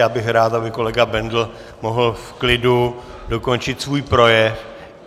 Já bych rád, aby kolega Bendl mohl v klidu dokončit svůj projev.